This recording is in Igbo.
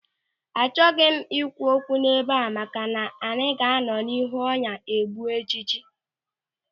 Achọghị m ikwu okwu ebe a maka na adịghị anọ n'ihu ọnya egbu ịjiji.